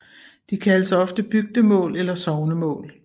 De kaldes ofte bygdemål eller sognemål